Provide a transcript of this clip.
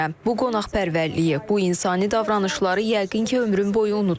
Bu qonaqpərvərliyi, bu insani davranışları yəqin ki, ömrüm boyu unutmaram.